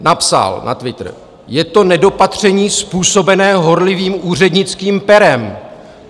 Napsal na Twitter: "Je to nedopatření způsobené horlivým úřednickým perem."